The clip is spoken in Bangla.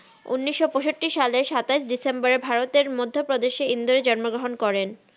উনিস পাইসাত্তি সালের সাতাস ডিসেম্বর ভারতের মাধহা প্রাদেসের ইন্দ্রাই জন ম গ্রাহান করেন